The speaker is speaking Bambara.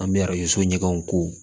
An bɛ arajo so ɲɛgɛnw ko